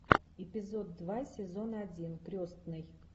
эпизод два сезон один крестный